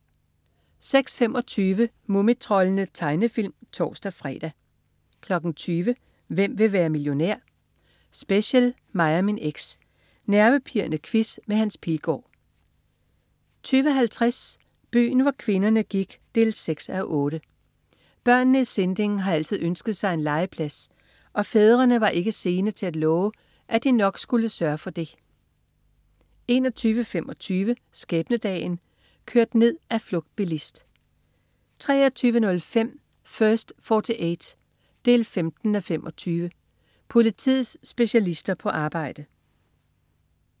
06.25 Mumitroldene. Tegnefilm (tors-fre) 20.00 Hvem vil være millionær? Special. Mig og min eks. Nervepirrende quiz med Hans Pilgaard 20.50 Byen hvor kvinderne gik 6:8. Børnene i Sinding har altid ønsket sig en legeplads, og fædrene er ikke sene til at love, at de nok skal sørge for det 21.25 Skæbnedagen. Kørt ned af flugtbilist 23.05 First 48 15:25. Politiets specialister på arbejde